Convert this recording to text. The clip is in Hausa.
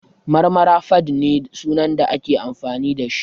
Marmara_fadd ne sunan da nake amfani da shi